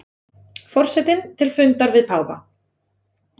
Forsetinn til fundar við páfa